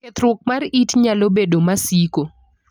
Kethruok mar it nalo bedo masiko.